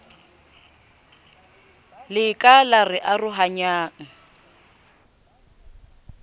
le ka la re arohanyang